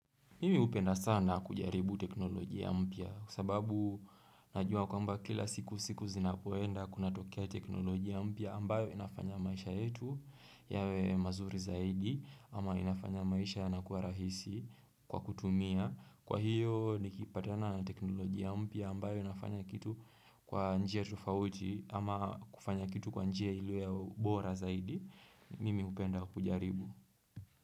Mimi upenda sana kujaribu teknolojia mpya kwa sababu najua kwamba kila siku siku zinapoenda kunatokea teknolojia mpya ambayo inafanya maisha yetu yawe mazuri zaidi ama inafanya maisha yanakua rahisi kwa kutumia. Kwa hiyo nikipatana teknolojia mpya ambayo inafanya kitu kwa njia tufauti ama kufanya kitu kwa njia iliyo ya ubora zaidi. Mimi upenda kujaribu.